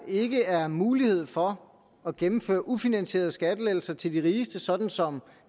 ikke er mulighed for at gennemføre ufinansierede skattelettelser til de rigeste sådan som